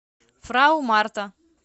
фрау марта